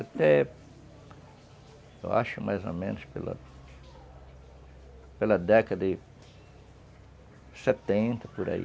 Até, eu acho, mais ou menos pela... Pela década de setenta, por aí.